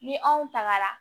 Ni anw tagara